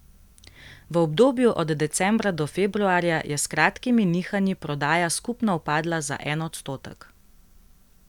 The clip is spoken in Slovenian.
V obdobju od decembra do februarja je s kratkimi nihanji prodaja skupno upadla za en odstotek.